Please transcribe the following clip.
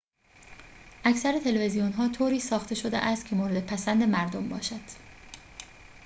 اکثر تلویزیون‌ها طوری ساخته شده‌است که مورد پسند مردم باشد